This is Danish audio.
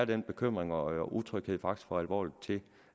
den bekymring og utryghed er faktisk for alvorlig til